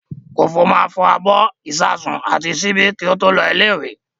Kòfó máa fọ abọ́, ìṣasùn àti ṣíbí kí ó tó lọ ilé-ìwé.